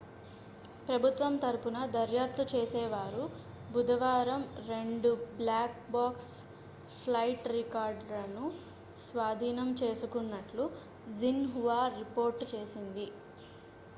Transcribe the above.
ప్రభుతం తరపున దర్యాప్తు చేసేవారు బుధవారం 2 బ్లాక్ బాక్స్' ఫ్లైట్ రికార్డర్లను స్వాధీనం చేసుకున్నట్లు xinhua రిపోర్ట్ చేసింది